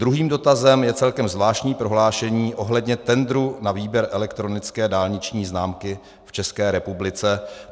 Druhý dotazem je celkem zvláštní prohlášení ohledně tendru na výběr elektronické dálniční známky v České republice.